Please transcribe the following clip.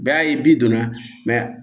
Bɛɛ y'a ye bi donna